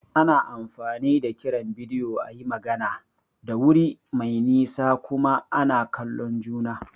Ana amfani da kiran bidiyo a yi magana da wuri mai nisa kuma ana kallon juna.